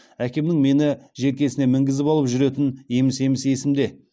әкемнің мені желкесіне мінгізіп алып жүретіні еміс еміс есімде